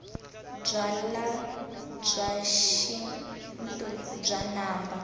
byalwabya xintu bya namba